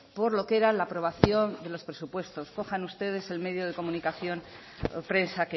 por lo que era la aprobación de los presupuestos cojan ustedes el medio de comunicación o prensa